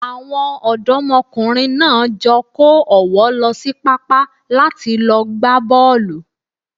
Àwọn ọ̀dọ́mọkùnrin náà jọ kó ọ̀wọ́ lọ sí pápá láti lọ gbá bọ́ọ̀lù.